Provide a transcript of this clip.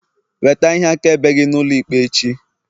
weta ihe akaebe gi n'ulo ikpe echi!